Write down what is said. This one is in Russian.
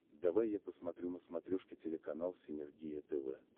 давай я посмотрю на смотрешке телеканал синергия тв